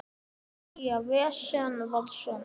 Nýja vísan var svona: